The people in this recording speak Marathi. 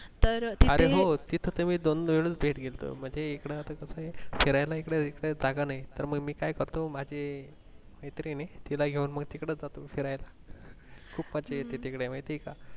अरे हो तिथं तर मी दोन वेळून थेट गेल्तो म्हणजे इकडे आता कसंय फिरायला इकडं रीतसर जागा नाही तर म मी काय करतो माझी मैत्रीण ए तिला घेऊन म तिकडं जातो फिरायला खूप मज्जा येतं तिकडं महतीये का